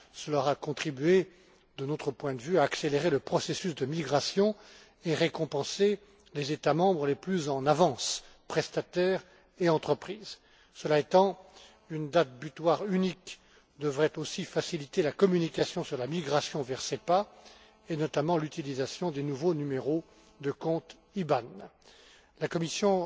Cela aurait contribué, de notre point de vue, à accélérer le processus de migration et récompensé les États membres les plus en avance, prestataires et entreprises. Cela étant, une date butoir unique devrait aussi faciliter la communication sur la migration vers SEPA, et notamment l'utilisation des nouveaux numéros de compte IBAN. Mesdames et Messieurs, la Commission